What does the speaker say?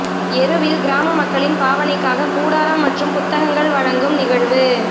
எருவில் கிராம மக்களின் பாவனைக்காக கூடாரம் மற்றும் புத்தகங்கள் வழங்கும் நிகழ்வு